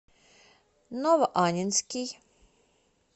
новоаннинский